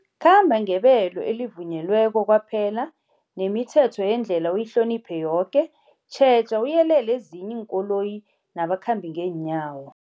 Khamba ngebelo elivunyelweko kwaphela, nemithetho yendlela uyihloniphe yoke. Tjheja uyelele ezinye iinkoloyi nabakhambi ngeenyawo.